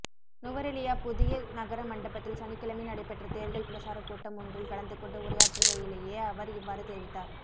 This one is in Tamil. நுவரெலியா புதிய நகர மண்டபத்தில் சனிக்கிழமை நடைபெற்ற தேர்தல் பிரசார கூட்டமொன்றில் கலந்து கொண்டு உரையாற்றுகையிலேயே அவர் இவ்வாறு தெரிவித்தார்